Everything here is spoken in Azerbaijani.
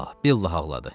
Vallahi, billahi ağladı.